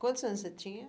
Quantos anos você tinha?